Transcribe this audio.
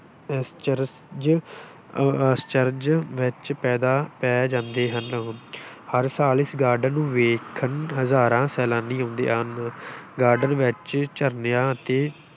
ਅਸਚਰਜ ਅਹ ਅਸਚਰਜ ਵਿੱਚ ਪੈਦਾ ਪੈ ਜਾਂਦੇ ਹਨ ਹਰ ਸਾਲ ਇਸ garden ਨੂੰ ਵੇਖਣ ਹਜ਼ਾਰਾਂ ਸੈਲਾਨੀ ਆਉਂਦੇ ਹਨ garden ਵਿੱਚ ਝਰਨਿਆਂ ਅਤੇ